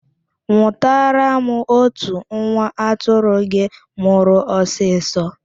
Nwụtara m otu nwa atụrụ gị mụrụ ọsịsọ